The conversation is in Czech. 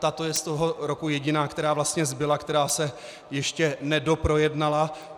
Tato je z toho roku jediná, která vlastně zbyla, která se ještě nedoprojednala.